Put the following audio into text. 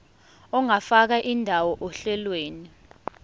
ungafaka indawo ohlelweni